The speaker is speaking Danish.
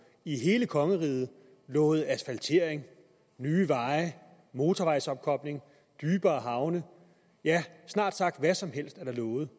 i hele kongeriget lovet asfaltering nye veje motorvejsopkobling dybere havne ja snart sagt hvad som helst er der lovet